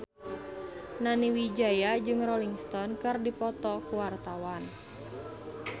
Nani Wijaya jeung Rolling Stone keur dipoto ku wartawan